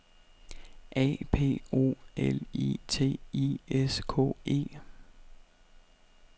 A P O L I T I S K E